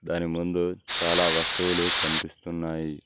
దాని ముందు చాలా వస్తువులు కనిపిస్తున్నాయి.